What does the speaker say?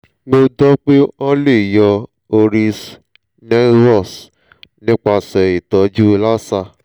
mo gbọ́ pé wọ́n lè yọ hori's nevus nípasẹ̀ ìtọ́jú laser